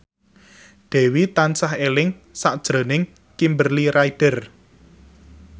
Dewi tansah eling sakjroning Kimberly Ryder